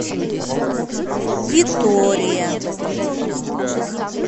витория